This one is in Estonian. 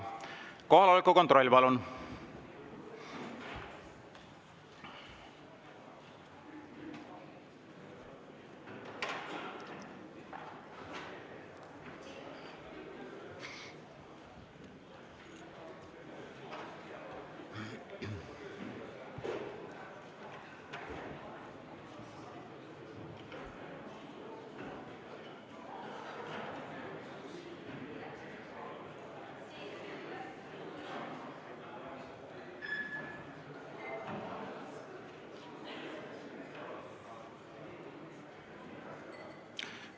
Kohaloleku kontroll, palun!